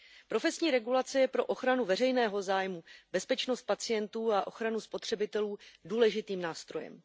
Profesní regulace je pro ochranu veřejného zájmu, bezpečnost pacientů a ochranu spotřebitelů důležitým nástrojem.